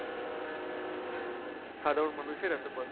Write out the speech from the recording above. সাধারণ মানুষের এত কষ্ট।